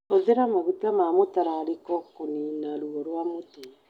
Hũthĩra maguta ma mũtararĩko kũniina ruo rwa mũtwe.